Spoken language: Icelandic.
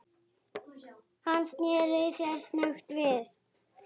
Hann sneri sér snöggt við.